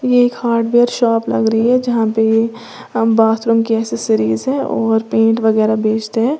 ये एक hardware shop लग रही है जहां पे ये बाथरूम की एसेसरीज है और पेंट वगैरह बेचते हैं।